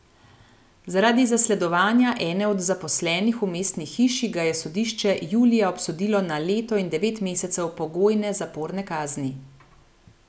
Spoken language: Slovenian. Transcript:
Zaradi zasledovanja ene od zaposlenih v mestni hiši, ga je sodišče julija obsodilo na leto in devet mesecev pogojne zaporne kazni.